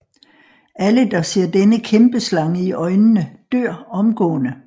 Alle der ser denne kæmpeslange i øjnene dør omgående